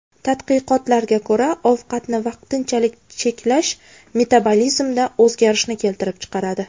Tadqiqotlarga ko‘ra, ovqatni vaqtinchalik cheklash metabolizmda o‘zgarishni keltirib chiqaradi.